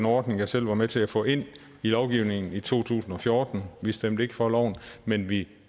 ordning jeg selv var med til at få ind i lovgivningen i to tusind og fjorten vi stemte ikke for loven men vi